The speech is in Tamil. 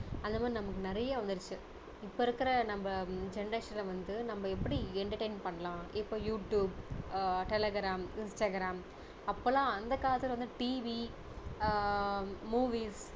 அந்த மாதிரி நமக்கு நிறைய வந்துடுச்சி இப்போ இருக்கிற நம்ம generation ல வந்து நம்ப எப்படி entertainment பண்ணலாம் இப்போ யூடுயூப், டெலிகிராம், இன்ஸ்டாகிராம் அப்போ எல்லாம் அந்த காலத்துல வந்து TV ஆஹ் movies